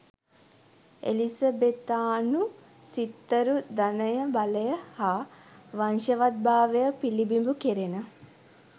එලිසබෙතානු සිත්තරු ධනය බලය හා වංශවත්භාවය පිලිබිඹු කෙරෙන